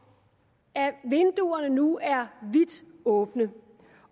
at vinduerne nu er vidt åbne